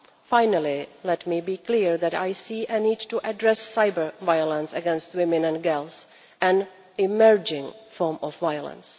Finally, let me be clear that I see a need to address cyber violence against women and girls an emerging form of violence.